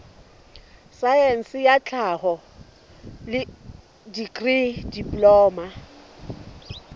saense ya tlhaho dikri diploma